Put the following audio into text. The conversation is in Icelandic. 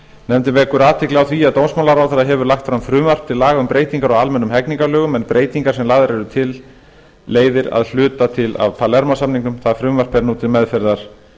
nefndin vekur athygli á því að dómsmálaráðherra hefur lagt fram frumvarp til laga um breytingar á almennum hegningarlögum en breytingarnar sem lagðar eru til leiðir að hluta til af palermó samningnum það frumvarp er nú til meðferðar